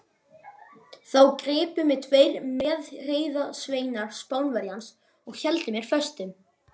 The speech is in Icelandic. Þá gripu mig tveir meðreiðarsveinar Spánverjans og héldu mér föstum.